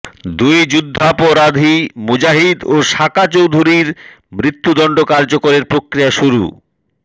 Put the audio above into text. দুই যুদ্ধাপরাধী মুজাহিদ ও সাকা চৌধুরীর মৃত্যুদণ্ড কার্যকরের প্রক্রিয়া শুরু